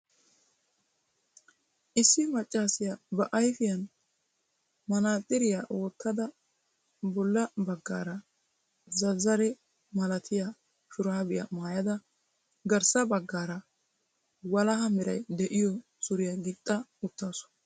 Issi maccassiya ba ayfiyaan manaaxxiriyaa wottada bolla baggaara zazzare malatiyaa shurabiyaa maayyada garssa baggaara walaha meray de'iyo suriya gixxa uttaasu.